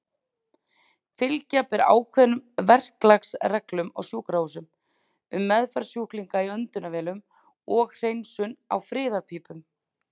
Fylgja ber ákveðnum verklagsreglum á sjúkrahúsum um meðferð sjúklinga í öndunarvélum og hreinsun á friðarpípum.